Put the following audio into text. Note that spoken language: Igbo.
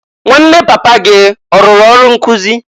Nwanne papa gị ọrụrụ ọrụ nkụzị?